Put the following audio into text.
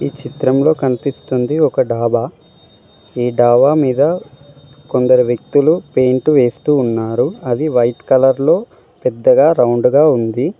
చిత్రంలో కన్పిస్తుంది ఒక డాబా ఈ డాబా మీద కొందరు వ్యక్తులు పెయింట్ వేస్తూ ఉన్నారు అది వైట్ కలర్ లో పెద్దగా రౌండ్ గా ఉంది.